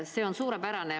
See on suurepärane.